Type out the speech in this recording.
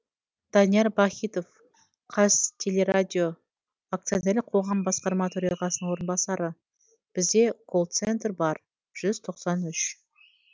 данияр бахитов қазтелерадио акционерлік қоғамы басқарма төрағасының орынбасары бізде колл центр бар жүз тоқсан үш